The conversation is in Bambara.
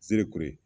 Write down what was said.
Zereko ye